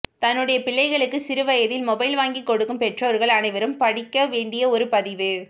தன்னுடைய பிள்ளைகளுக்கு சிறுவயதில் மொபைல் வாங்கி கொடுக்கும் பெற்றோர்கள் அனைவரும் படிக்க வேண்டிய ஒரு பதிவு